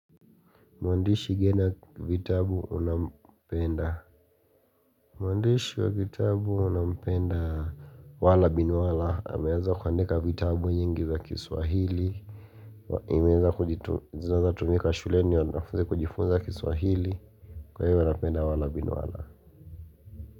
Mwandishi ngena vitabu unampenda Mwandishi wa vitabu nampendaaa wala bin wala ameweza kuandika vitabu nyingi za kiswahili Nimeeza kujitu zinazotumika shuleni wanafuzi kujifunza kiswahili. Kwa hivyo napenda wala bin wala.